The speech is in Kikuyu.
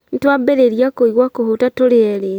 Nĩtwambĩrĩria kũigua kũhũta tũrĩ erĩ